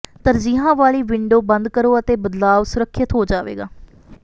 ਤਰਜੀਹਾਂ ਵਾਲੀ ਵਿੰਡੋ ਬੰਦ ਕਰੋ ਅਤੇ ਬਦਲਾਵ ਸੁਰੱਖਿਅਤ ਹੋ ਜਾਏਗਾ